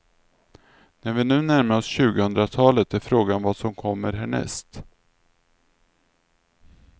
När vi nu närmar oss tjugohundratalet är frågan vad som kommer härnäst.